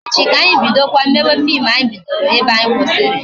Echi ka anyị bidokwa mewe fim anyị bido ebe anyị kwụsịrị